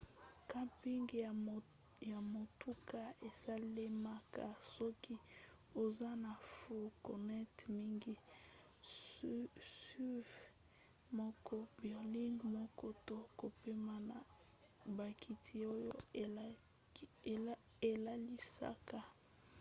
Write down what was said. camping ya motuka esalemaka soki oza na fourgonnette mingi suv moko berline moko to kopema na bakiti oyo elalisaka